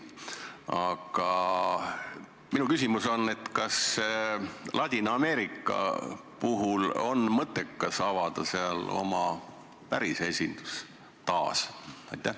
Aga minu küsimus on järgmine: kas Ladina-Ameerikas on mõttekas taasavada oma päris esindus?